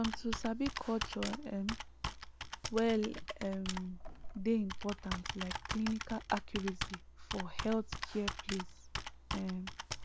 um to sabi culture um well um dey important like clinical accuracy for healthcare place um